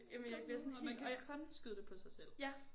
Kom nu og man kan kun skyde det på sig selv